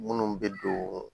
Munnu be don